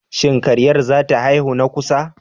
Shin karyar zata haihu na kusa?